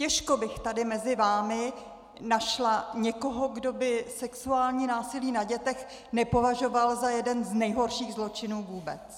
Těžko bych tady mezi vámi našla někoho, kdo by sexuální násilí na dětech nepovažoval za jeden z nejhorších zločinů vůbec.